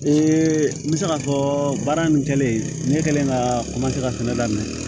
Ee n bɛ se k'a fɔ baara nin kɛlen ne kɛlen ka ka fɛnɛ daminɛ